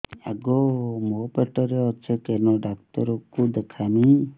ଆଗୋ ମୁଁ ପେଟରେ ଅଛେ କେନ୍ ଡାକ୍ତର କୁ ଦେଖାମି